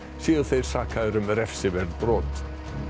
séu þeir sakaðir um refsiverð brot